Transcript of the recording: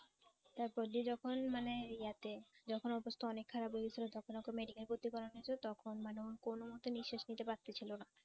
তারপর যে যখন মানে ইয়াতে যখন অবস্থা অনেক খারাপ হয়ে গেছিল যখন ওকে medical ভর্তি করা হয়েছিল তখন মানে ও ও কোনমতে নিঃশ্বাস নিতে পারতেছিল না।